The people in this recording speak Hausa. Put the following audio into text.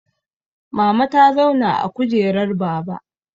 Mama ta zauna a kujerar baba